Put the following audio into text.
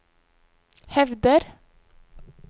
hevder